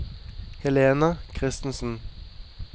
Helena Christensen